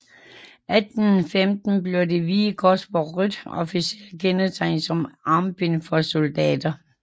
I 1815 blev det hvide kors på rødt officielt kendetegn som armbind for soldater